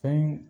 Fɛn